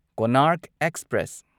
Konark express